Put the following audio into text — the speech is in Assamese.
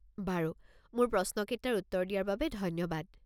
বাৰু। মোৰ প্ৰশ্ন কেইটাৰ উত্তৰ দিয়াৰ বাবে ধন্যবাদ।